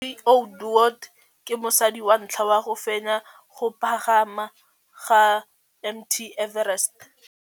Cathy Odowd ke mosadi wa ntlha wa go fenya go pagama ga Mt Everest.